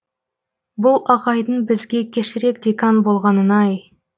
бұл ағайдың бізге кешірек декан болғанын ай